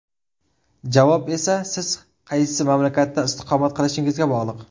Javob esa siz qaysi mamlakatda istiqomat qilishingizga bog‘liq.